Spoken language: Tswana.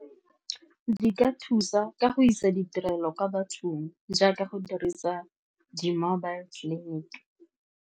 Di ka thusa ka go isa ditirelo kwa bathong jaaka go dirisa di-mobile clinic.